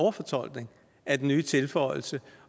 overfortolkning af den nye tilføjelse